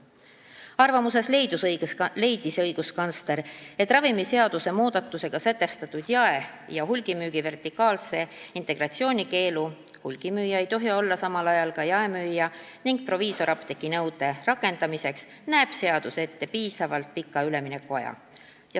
Selles arvamuses leidis õiguskantsler, et mis puutub ravimiseaduse muudatusega sätestatud jae- ja hulgimüügi vertikaalse integratsiooni keeldu – hulgimüüja ei tohi olla samal ajal ka jaemüüja – ning proviisorapteegi nõudesse, siis nende rakendamiseks näeb seadus ette piisavalt pika üleminekuaja.